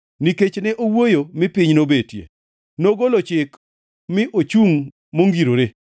Nikech ne owuoyo mi piny nobetie, nogolo chik mi ochungʼ mongirore.